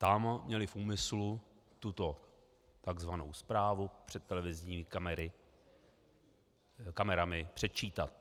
Tam měli v úmyslu tuto tzv. zprávu před televizními kamerami předčítat.